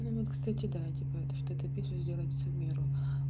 кстати да типа это что это пишет сделать в меру